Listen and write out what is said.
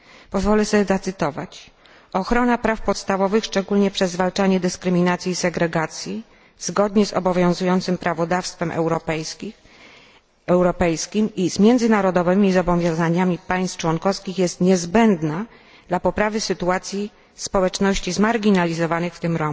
Pozwolę sobie zacytować Ochrona praw podstawowych szczególnie przez zwalczanie dyskryminacji i segregacji zgodnie z obowiązującym prawodawstwem europejskim i z międzynarodowymi zobowiązaniami państw członkowskich jest niezbędna dla poprawy sytuacji społeczności marginalizowanych, w